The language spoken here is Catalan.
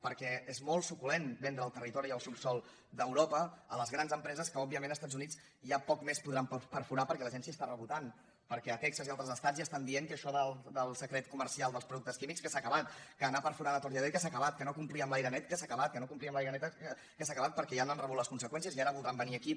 perquè és molt suculent vendre el territori i el subsòl d’europa a les grans empreses que òbviament als estats units ja poc més podran perforar perquè la gent s’hi està rebotant perquè a texas i a altres estats ja estan dient que això del secret comercial dels productes químics s’ha acabat que anar perforant a tort i a dret s’ha acabat que no complir amb l’aire net s’ha acabat que no complir amb l’aigua neta s’ha acabat perquè ja n’han rebut les conseqüències i ara voldran venir aquí